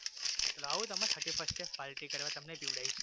આવવુ તમારે thirty first એ party કરવા તમને પીવડાવીશ